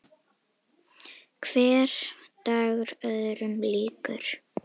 Hver dagur öðrum líkur.